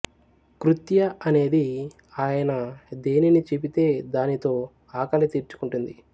కృత్య అనేది ఆయన దేనిని చెపితే దానితో ఆకలి తీర్చుకుంటుంది